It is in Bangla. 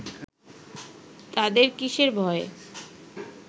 তাদের কিসের ভয়